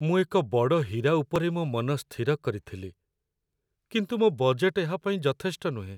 ମୁଁ ଏକ ବଡ଼ ହୀରା ଉପରେ ମୋ ମନ ସ୍ଥିର କରିଥିଲି, କିନ୍ତୁ ମୋ ବଜେଟ୍‌‌‌ ଏହା ପାଇଁ ଯଥେଷ୍ଟ ନୁହେଁ